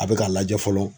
A bɛ k'a lajɛ fɔlɔ